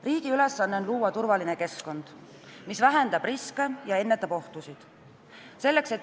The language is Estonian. Riigi ülesanne on luua turvaline keskkond, mis vähendab riske ja ennetab ohtusid.